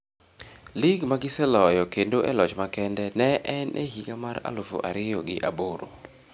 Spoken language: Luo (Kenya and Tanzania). Lig magiseloyo kendo e loch makende ne en e higa mar alufu ariyo gi aboro.